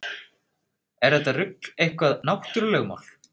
Er þetta rugl eitthvað náttúrulögmál?